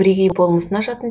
бірегей болмысын ашатын